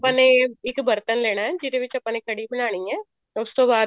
ਆਪਾਂ ਨੇ ਇੱਕ ਬਰਤਨ ਲੈਣਾ ਜਿਹੜੇ ਵਿੱਚ ਆਪਾਂ ਨੇ ਕੜ੍ਹੀ ਬਣਾਉਣੀ ਹੈ ਉਸ ਤੋਂ